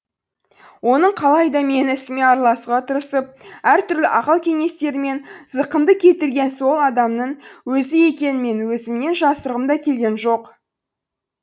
оның қалай да менің ісіме араласуға тырысып әртүрлі ақыл кеңестерімен зықымды кетірген сол адамның өзі екенін мен өзімнен жасырғым да келген жоқ